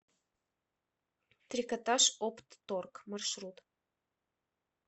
трикотажоптторг маршрут